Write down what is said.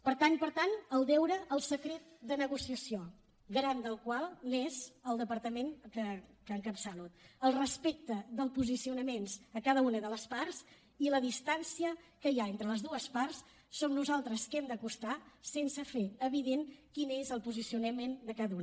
per tant per tant el deure al secret de negociació garant del qual és el departament que encapçalo el respecte dels posicionaments a cada una de les parts i la distància que hi ha entre les dues parts som nosaltres que els hem d’acostar sense fer evident quin és el posicionament de cada una